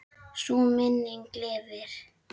Sú minning lifir.